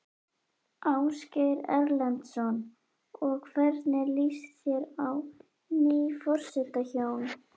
Ásgeir Erlendsson: Og hvernig líst þér á ný forsetahjón?